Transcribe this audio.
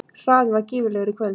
Hraðinn var gífurlegur í kvöld